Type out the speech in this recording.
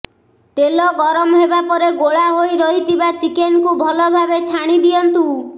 ତେଲ ଗରମ ହେବା ପରେ ଗୋଳା ହୋଇରହିଥିବା ଚିକେନକୁ ଭଲ ଭାବେ ଛାଣି ଦିଅନ୍ତୁ